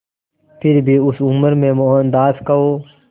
फिर भी उस उम्र में मोहनदास को